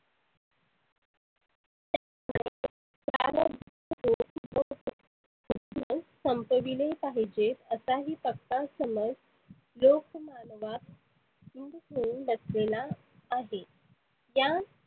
संपविले पाहीजे असाही पक्का समज लिक मानवात दृढ होऊन बसलेला आहे. या